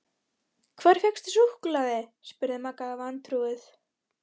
Hvar fékkstu súkkulaði? spurði Magga vantrúuð.